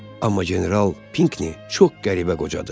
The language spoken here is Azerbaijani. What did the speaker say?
Amma general Pinkni çox qəribə qocadı.